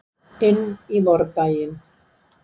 Inn í vordaginn.